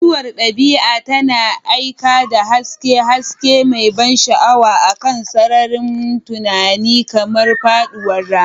Mutuwar dabi'a tana aika da haske, haske mai ban sha'awa akan sararin tunani, kamar faɗuwar rana.